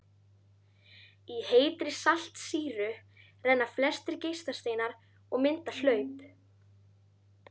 Í heitri saltsýru renna flestir geislasteinar og mynda hlaup.